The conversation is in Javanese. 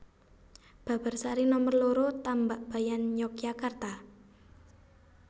Babarsari Nomer loro Tambakbayan Yogyakarta